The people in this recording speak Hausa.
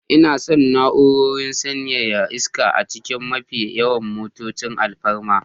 Ina son na'urar sanyaya iska a cikin mafi yawan motocin alfarma